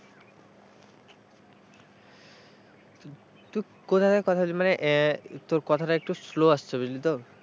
তুই কোথায় কোথায় মানে আছিস মানে তোর কথাটা একটু slow আসছে বুঝলি তো।